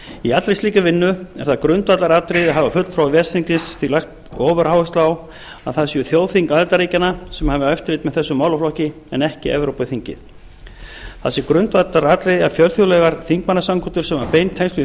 í allri slíkri vinnu er það grundvallaratriði og hafa fulltrúar ves þingsins því lagt ofuráherslu á að það séu þjóðþing aðildarríkjanna sem hafi eftirlit með þessum málaflokki en ekki evrópuþingið það sé grundvallaratriði að fjölþjóðlegar þingmannasamkundur sem hafa bein tengsl við